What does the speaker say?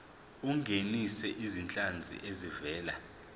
ungenise izinhlanzi ezivela